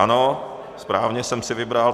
Ano, správně jsem si vybral.